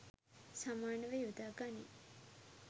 සමානව යොදා ගනී